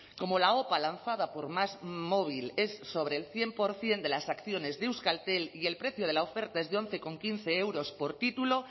como la opa lanzada por másmóvil es sobre el cien por ciento de las acciones de euskaltel y el precio de la oferta es de once coma quince euros por título